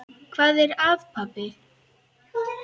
Hvað er að, pabbi?